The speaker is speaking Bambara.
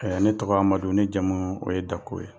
ne tɔgɔ Amadu, ne jamu o ye Dako ye.